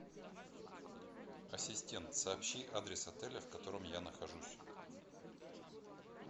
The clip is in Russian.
ассистент сообщи адрес отеля в котором я нахожусь